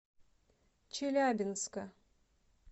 челябинска